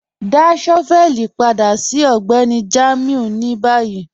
Dá shọ́vẹ̀lì padà sí Ọgbẹ́ni Jamiu ni bayí.